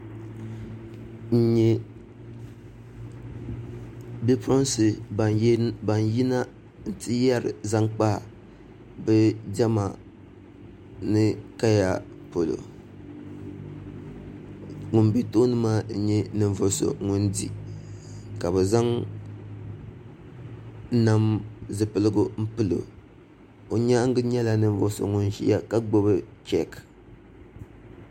N nyɛ bipuɣunsi ban yina n ti yɛri zaŋ kpa bi diɛma ni kaya polo ŋun bɛ tooni maa n nyɛ ninvuɣu so ŋun di ka bi zaŋ nam zipiligu n pilo o nyaangi nyɛla ninvuɣu so ŋun ʒiya ka gbubi cheek